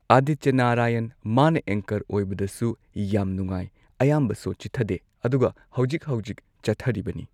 ꯑꯗꯤꯇ꯭ꯌ ꯅꯥꯔꯥꯌꯟ ꯃꯥꯅ ꯑꯦꯡꯀꯔ ꯑꯣꯏꯕꯗꯁꯨ ꯌꯥꯝ ꯅꯨꯉꯥꯏ ꯑꯌꯥꯝꯕ ꯁꯣ ꯆꯤꯊꯗꯦ ꯑꯗꯨꯒ ꯍꯧꯖꯤꯛ ꯍꯧꯖꯤꯛ ꯆꯠꯊꯔꯤꯕꯅꯤ꯫